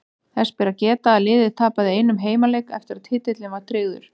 Þess ber að geta að liðið tapaði einum heimaleik eftir að titillinn var tryggður.